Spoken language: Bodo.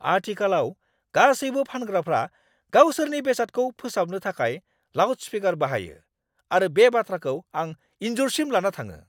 आथिखालाव गासैबो फानग्राफ्रा गावसोरनि बेसादखौ फोसावनो थाखाय लाउडस्पीकार बाहायो आरो बे बाथ्राखौ आं इनजुरसिम लाना थाङो।